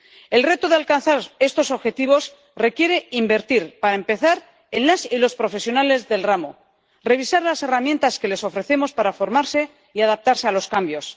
El reto de alcanzar estos objetivos requiere invertir, para empezar, en las y los profesionales del ramo, revisar las herramientas que les ofrecemos para formarse y adaptarse a los cambios.